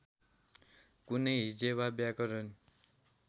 कुनै हिज्जे वा व्याकरण